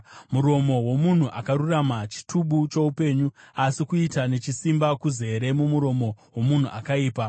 Muromo womunhu akarurama chitubu choupenyu, asi kuita nechisimba kuzere mumuromo womunhu akaipa.